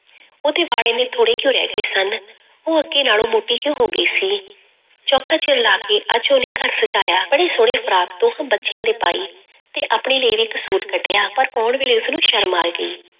ਉਹਦੇ ਵਾਲ ਇੰਨੇ ਥੋੜ੍ਹੇ ਕਿਉਂ ਰਹਿ ਗਏ ਸਨ, ਉਹ ਅੱਗੇ ਨਾਲੋਂ ਮੋਟੀ ਕਿਉਂ ਹੋ ਗਈ ਸੀ, ਚੋਖਾ ਚਿਰ ਲਾ ਕੇ ਅੱਜ ਉਹਨੇ ਘਰ ਸਜਾਇਆ, ਬੜੀ ਸੋਹਣੀ ਫਰਾਕ ਉਸ ਬੱਚਿਆਂ ਦੇ ਪਾਈ ਤੇ ਆਪਣੇ ਲਈ ਵੀ ਇੱਕ ਸੂਟ ਕੱਢਿਆਂ ਪਰ ਪਾਉਣ ਵੇਲੇ ਉਸਨੂੰ ਸ਼ਰਮ ਆ ਗਈ।